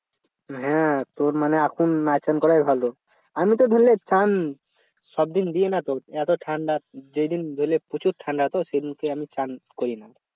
হ্যাঁ তোর মানে এখন না চান করাই ভালো আমিতো তো ধরলে চান সবদিন দিয়ে নাতো এতো ঠান্ডা যেদিন ধরলে প্রচুর ঠান্ডা তো সেদিনকে আমি চান করি না